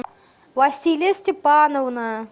василия степановна